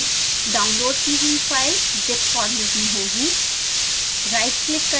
यह यहाँ है! डाउनलोड की हुई फाइल zip फॉर्मेट में होगी